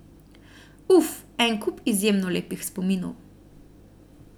Uf, en kup izjemno lepih spominov.